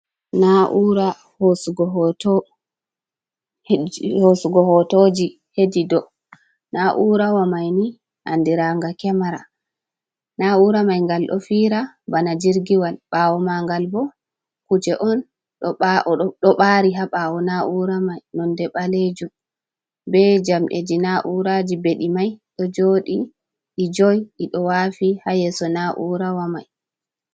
Na'ura hosugo hotoji hedi dou, na'ura wa mai ni andiranga kemaraji, na'ura mai ngal ɗo fira bana jirgiwal ɓawo magal bo kuje on ɗo d ɓari ha ɓawo na'ura mai nonde ɓalejum be jamɗeji nauraji beɗi mai ɗo joɗi ɗi joi, ɗi ɗo wafi ha yeeso na'ura wa mai.